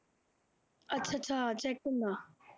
ਅੱਛਾ ਅੱਛਾ check ਹੁੰਦਾ,